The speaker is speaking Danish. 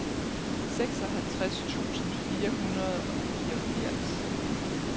seksoghalvtreds tusind fire hundrede og fireogfirs